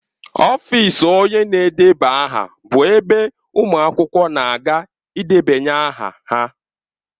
Ọfịs onye na-edeba aha bụ ebe ụmụ akwụkwọ na-aga ịdebanye aha.